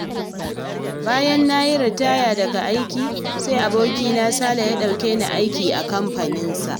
Bayan na yi ritaya daga aiki, sai abokina Sale ya ɗauke ni aiki a kamfaninsa.